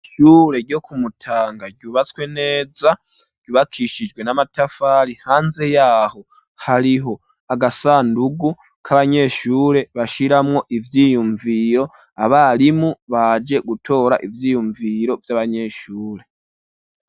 Ishure ryo ku Mutanga, ryubatswe neza, ryubakishijwe n'amatafari; hanze y'aho, hariho agasandugu, k'abanyeshure, bashiramwo ivyiyumviro; abarimu baje gutora, ivyiyumviro vy'abanyeshure.